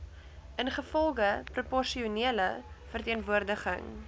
ingevolge proporsionele verteenwoordiging